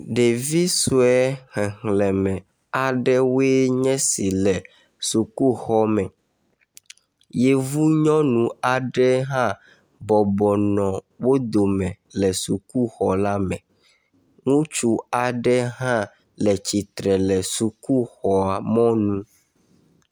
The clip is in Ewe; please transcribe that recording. Ɖevi sue xexleme aɖewoe nye esi le sukuxɔme. Yevu nyɔnu aɖe hã bɔbɔnɔ wo dome le sukuxɔla me. Ŋutsu aɖe hã le tsitre le sukuxɔmɔnu.